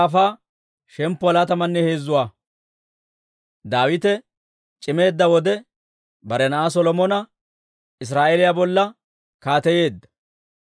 Daawite c'imeedda wode, bare na'aa Solomona Israa'eeliyaa bolla kaateyeedda.